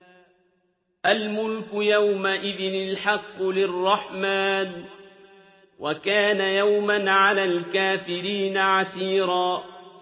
الْمُلْكُ يَوْمَئِذٍ الْحَقُّ لِلرَّحْمَٰنِ ۚ وَكَانَ يَوْمًا عَلَى الْكَافِرِينَ عَسِيرًا